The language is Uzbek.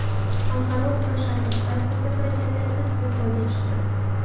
Xalqaro kurash assotsiatsiyasi prezidenti iste’foga chiqdi.